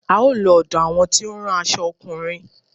A ó lọ ọ̀dọ àwọn tí ó ń rán aṣo ọkùnrin.